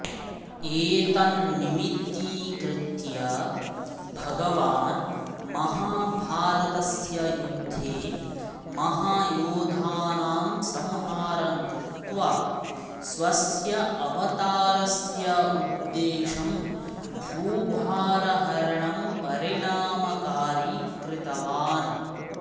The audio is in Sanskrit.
एतं निमित्यीकृत्य भगवान् महाभारतस्य युद्धे महायोधानां संहारं कृत्वा स्वस्य अवतारस्य उद्देशं भूभारहरणं परिणामकारि कृतवान्